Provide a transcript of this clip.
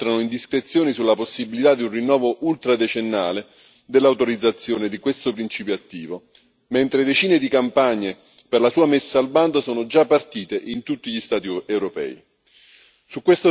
Da settimane filtrano indiscrezioni sulla possibilità di un rinnovo ultra decennale dell'autorizzazione di questo principio attivo, mentre decine di campagne per la sua messa al bando sono già partite in tutti gli Stati europei.